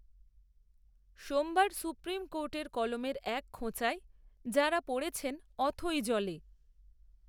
সোমবার সুপ্রিম কোর্টের কলমের এক খোঁচায় যাঁরা পড়েছেন, অথৈ জলে